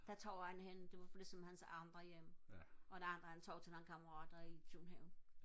så tog han hen det var ligesom hans andet hjem og den anden han tog til nogle kammerater i København